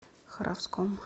харовском